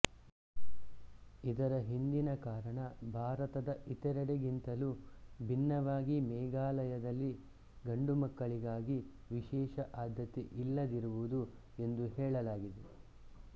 ಇದರ ಹಿಂದಿನ ಕಾರಣ ಭಾರತದ ಇತರೆಡೆಗಿಂತಲೂ ಭಿನ್ನವಾಗಿ ಮೇಘಾಲಯದಲ್ಲಿ ಗಂಡುಮಕ್ಕಳಿಗಾಗಿ ವಿಶೇಷ ಆದ್ಯತೆ ಇಲ್ಲದಿರುವುದು ಎಂದು ಹೇಳಲಾಗಿದೆ